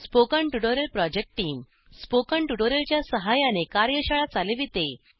spoken tutorial project team spoken tutorial च्या सहाय्याने कार्यशाळा चालविते